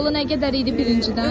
Balı nə qədər idi birincidən?